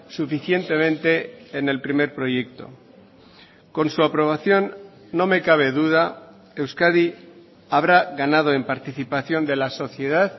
suficientemente en el primer proyecto con su aprobación no me cabe duda euskadi habrá ganado en participación de la sociedad